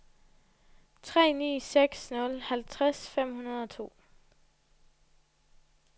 tre ni seks nul halvtreds fem hundrede og to